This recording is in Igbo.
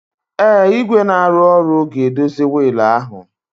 Ee, igwe na-arụ ọrụ ga-edozi wiil ahụ